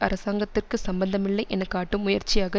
அரசாங்கத்திற்கு சம்பந்தமில்லை என காட்டும் முயற்சியாக